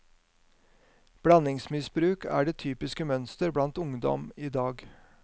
Blandingsmisbruk er det typiske mønster blant ungdom i dag.